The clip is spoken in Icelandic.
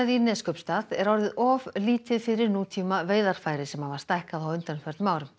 í Neskaupstað er orðið of lítið fyrir nútíma veiðarfæri sem hafa stækkað á undanförnum árum